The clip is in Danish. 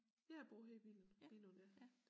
Ja jeg bor her i Billund Billund ja